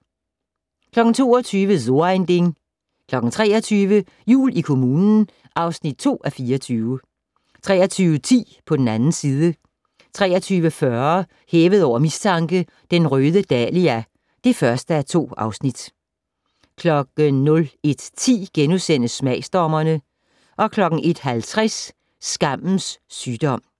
22:00: So ein Ding 23:00: Jul i kommunen (2:24) 23:10: På den 2. side 23:40: Hævet over mistanke: Den røde dahlia (1:2) 01:10: Smagsdommerne * 01:50: Skammens sygdom